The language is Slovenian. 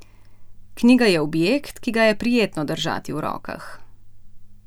Knjiga je objekt, ki ga je prijetno držati v rokah.